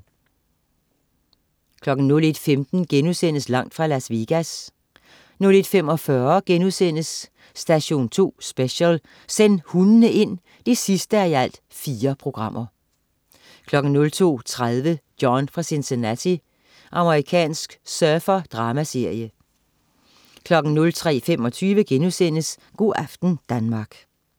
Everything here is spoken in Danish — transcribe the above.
01.15 Langt fra Las Vegas* 01.45 Station 2 Special: Send hundene ind! 4:4* 02.30 John fra Cincinnati. Amerikansk surfer-dramaserie 03.25 Go' aften Danmark*